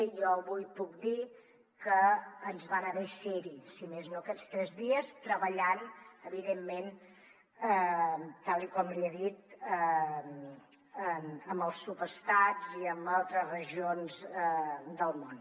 i jo avui puc dir que ens va anar bé ser hi si més no aquests tres dies treballant evidentment tal com li he dit amb els subestats i amb altres regions del món